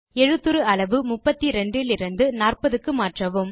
எழுத்துரு அளவு 32 இலிருந்து 40 க்கு மாற்றவும்